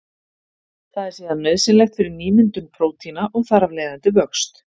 Það er síðan nauðsynlegt fyrir nýmyndun prótína og þar af leiðandi vöxt.